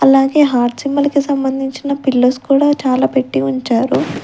అలాగే heart symbol కి సంబంధించిన పిల్లోస్ కూడా చాలా పెట్టి ఉంచారు.